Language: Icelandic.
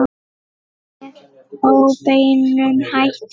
Með óbeinum hætti.